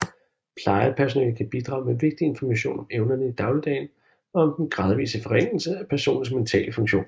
Plejepersonale kan bidrage med vigtig information om evnerne i dagligdagen og om den gradvise forringelse af personens mentale funktion